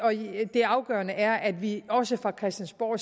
det afgørende er at vi også fra christiansborg